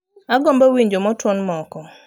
Agombo winjo motown moko